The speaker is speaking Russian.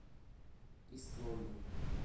ист лондон